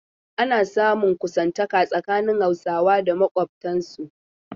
Ana samun kusantaka tsakanin Hausawa da makwabtansu.